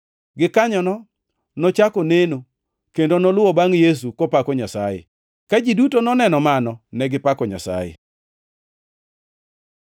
Gikanyono nochako neno kendo noluwo bangʼ Yesu, kopako Nyasaye. Ka ji duto noneno mano, negipako Nyasaye.